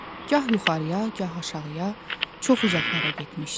Gah yuxarıya, gah aşağıya, çox uzaqlara getmişdi.